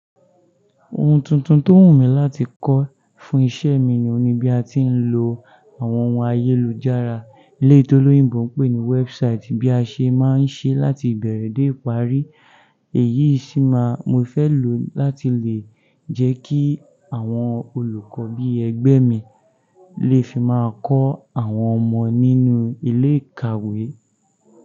Ohun tuntun tó wù mí láti kọ́ fún iṣẹ́ mi ò'n ní bí a ti ń lo àwọn ohun ayélujára. Eléyìí tí olóyìnbó ń pè ní website bí a ṣe má ń ṣe láti ìbẹ̀rẹ̀ dé ìparí. Èyí sí máa mo fẹ́ lò láti lè jẹ́ kí àwọn olùkọ́ bí ẹgbẹ́ mi lè fi máa kọ́ àwọn ọmọ nínú ilé ìkàwé.